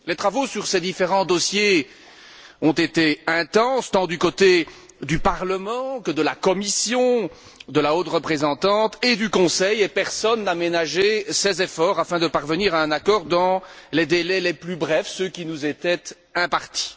Les travaux sur ces différents dossiers ont été intenses tant du côté du Parlement que de la Commission, de la haute représentante et du Conseil, et personne n'a ménagé ses efforts afin de parvenir à un accord dans les délais les plus brefs, ceux qui nous étaient impartis.